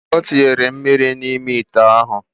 Otinyere mmiri na ime ite ahu.